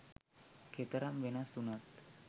කෙතරම් වෙනස් වුණත්